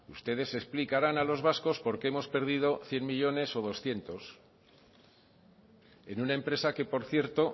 ustedes explicarán a los vascos por qué hemos perdido cien millónes o doscientos en una empresa que por cierto